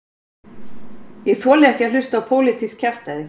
Ég þoli ekki að hlusta á pólitískt kjaftæði